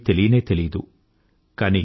వారికేమీ తెలియనే తెలియదు